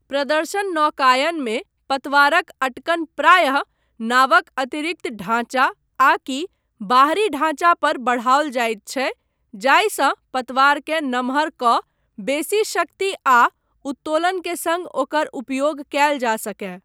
प्रदर्शन नौकायनमे, पतवारक अँटकन प्रायः नावक अतिरिक्त ढाँचा आकि बाहरी ढाँचा पर बढ़ाओल जायत छै जाहिसँ पतवारकेँ नम्हर कऽ बेसी शक्ति आ उत्तोलन के सङ्ग ओकर उपयोग कयल जा सकय।